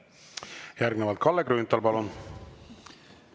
Järgnevalt Kalle Grünthal, palun!